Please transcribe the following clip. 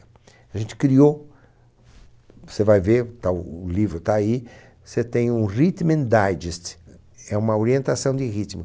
A gente criou, você vai ver, está o livro está aí, você tem um Rhythm Digest, é uma orientação de ritmo.